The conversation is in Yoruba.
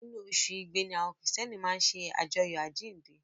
Inú oṣù Igbe ni àwọn Kìrìtẹ́ẹ́nì máa ń ṣe àjọyọ̀ àjíǹde.